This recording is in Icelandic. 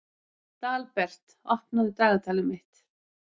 Dalbert, opnaðu dagatalið mitt.